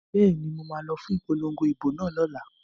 Bẹ́ẹ̀ni, mo ma lọ fún ipolongo ìbò náà lọ́la